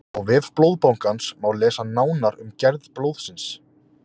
á vef blóðbankans má lesa nánar um gerð blóðsins